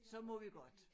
Så må vi godt